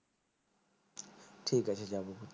ঠিক আছে যাবো